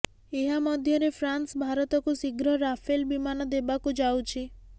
ଏହା ମଧ୍ୟରେ ଫ୍ରାନ୍ସ ଭାରତକୁ ଶୀଘ୍ର ରାଫେଲ ବିମାନ ଦେବାକୁ ଯାଉଛି